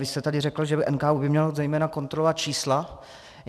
Vy jste tady řekl, že by NKÚ měl zejména kontrolovat čísla.